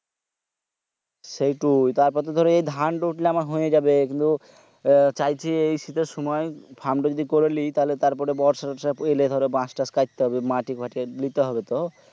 সেটোই তারপর তো ধরো ধান তো উঠলে আমার হয়েযাবে চাইছি এই শীতের সময় fund যদি করি লেই তাহলে তার পরে বর্ষা তোর্সা আলে ধরো বাশ তাস কাটতে হবে মাটি ফ্যাটি লিতে হবে তো